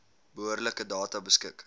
behoorlike data beskik